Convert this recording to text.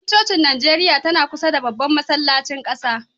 Babbar cocin NIjeriya tana kusa da Babban masallacin ƙasa.